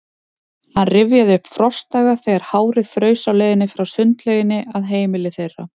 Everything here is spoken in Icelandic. Hann rifjaði upp frostdaga, þegar hárið fraus á leiðinni frá sundlauginni að heimili þeirra.